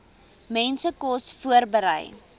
mense kos voorberei